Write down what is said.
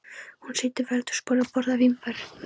Hún situr við eldhúsborðið og borðar vínber.